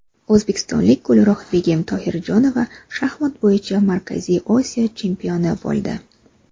O‘zbekistonlik Gulruhbegim Tohirjonova shaxmat bo‘yicha Markaziy Osiyo chempioni bo‘ldi.